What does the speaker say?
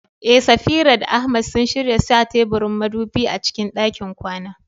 Eh, Safira da Ahmad sun shirya sa teburin madubi a cikin ɗakin kwana.